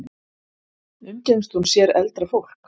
Umgengst hún sér eldra fólk?